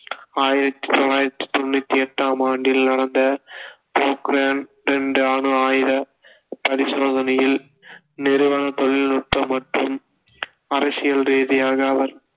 ஆயிரத்தி தொள்ளாயிரத்தி தொண்ணுத்தி எட்டாம் ஆண்டில் நடந்த போக்ரான் ரெண்டு அணு ஆயுத பரிசோதனையில் நிறுவன தொழில்நுட்ப மற்றும் அரசியல் ரீதியாக அவர்